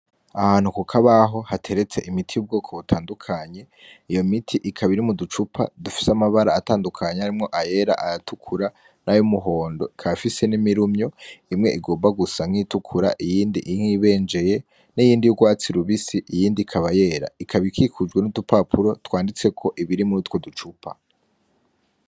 Ahantu kuk'akabaho hateretse imiti y'ubwoko butandukanye, iyo miti ikaba iri mu ducupa dufise amabara atandukanye harimwo ayera; ayatukura; n'ayumuhondo. Ikaba ifise n'imirumyo imwe igomba gusa nk'iyitukura; iyindi iyibenjeye; n'iyindi y'ugwatsi rubisi; iyindi ikaba yera. Ikaba ikikujwe n'udupapuro twanditseko ibiri mu rutwo ducupa.